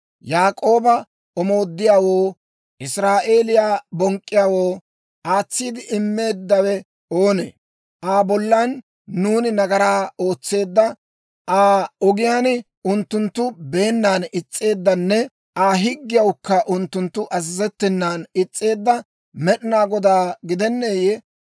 Yaak'ooba omooddiyaawoo, Israa'eeliyaa bonk'k'iyaawoo aatsiide immeeddawe oonee? Aa bollan nuuni nagaraa ootseedda, Aa ogiyaan unttunttu beennan is's'eeddanne Aa higgiyawukka unttunttu azazettenan is's'eedda Med'inaa Godaa gidenneeyye?